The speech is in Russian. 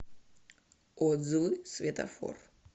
отзывы светофор